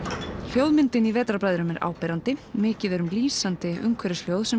Vetrarbræðrum er áberandi mikið er um lýsandi umhverfishljóð sem